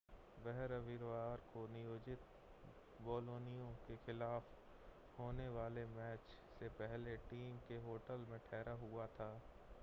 वह रविवार को नियोजित बोलोनिया के खिलाफ होने वाले मैच से पहले टीम के होटल में ठहरा हुआ था